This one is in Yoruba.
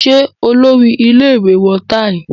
Ṣé Olórí-ile ìwé wọ táì?